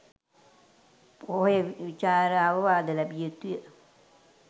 පොහොය විචාරා අවවාද ලැබිය යුතු ය.